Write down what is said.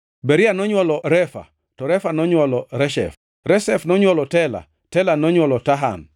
Beria nonywolo Refa, to Refa nonywolo Reshef Reshef nonywolo Tela, Tela nonywolo Tahan,